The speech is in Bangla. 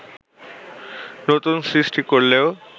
নতুন সৃষ্টি করলেও